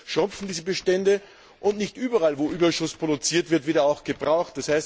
Einerseits schrumpfen diese Bestände, und nicht überall, wo Überschuss produziert wird, wird er auch gebraucht.